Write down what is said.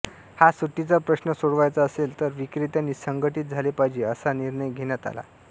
हा सुट्टीचा प्रश्न सोडवायचा असेल तर विक्रेत्यांनी संघटित झाले पाहिजे असा निर्णय घेण्यात आला